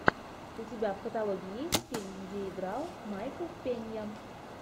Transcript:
у тебя в каталоге есть фильм где играл майкл пенья